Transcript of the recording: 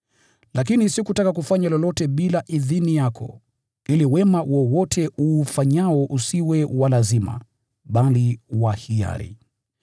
Lakini sikutaka kufanya lolote bila idhini yako, ili wema wowote uufanyao usiwe wa lazima, bali wa hiari.